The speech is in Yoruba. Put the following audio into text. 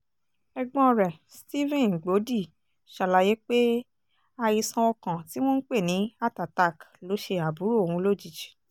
ẹ̀gbọ́n rẹ̀ stephen gbọ́dì ṣàlàyé pé àìsàn ọkàn tí wọ́n ń pè ní heart attack ló ṣe àbúrò òun lójijì